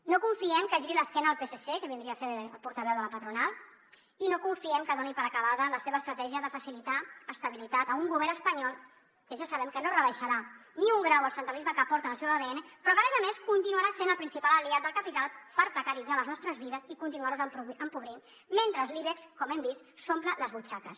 no confiem que giri l’esquena al psc que vindria a ser el portaveu de la patronal i no confiem que doni per acabada la seva estratègia de facilitar estabilitat a un govern espanyol que ja sabem que no rebaixarà ni un grau el centralisme que porta en el seu adn però que a més a més continuarà sent el principal aliat del capital per precaritzar les nostres vides i continuar nos empobrint mentre l’ibex com hem vist s’omple les butxaques